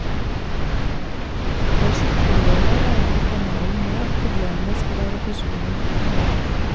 Først på lørdag regner kanalen med at problemene skal være forsvunnet.